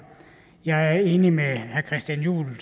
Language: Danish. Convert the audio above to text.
jeg er enig med herre christian juhl